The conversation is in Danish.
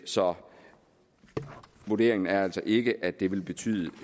så vurderingen er altså ikke at det vil betyde